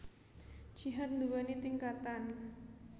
Jihad nduwèni tingkatan